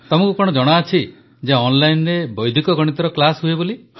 ତମକୁ କଣ ଜଣାଅଛି ଯେ ଅନଲାଇନରେ ବୈଦିକ ଗଣିତର କ୍ଲାସ୍ ହୁଏ